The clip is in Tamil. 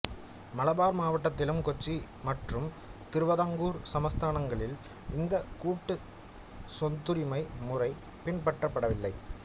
மலபார் மாவட்டத்திலும் கொச்சி மற்றும் திருவிதாங்கூர் சமஸ்தானங்களில் இந்தக் கூட்டுச் சொத்துரிமை முறை பின்பற்றப்படவில்லை